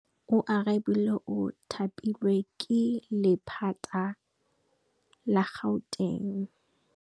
Oarabile o thapilwe ke lephata la Gauteng.